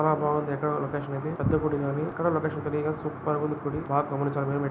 చాలా బాగుంది ఎక్కడో లోకేషన్ ఇది. పెద్ద గుడి లా ఉంది ఎక్కడో లొకేషన్ తెలియదు గానీ సూపర్ ఉంది గుడి బాగ గమనించా --